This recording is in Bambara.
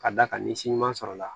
Ka d'a kan ni si ɲuman sɔrɔla